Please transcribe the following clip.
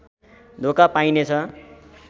धोका पाइनेछ